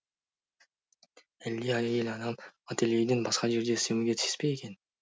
әлде әйел адам ательеден басқа жерде істемеуге тиіс пе екен